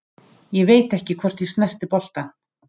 Ég veit ekki hvort ég snerti boltann.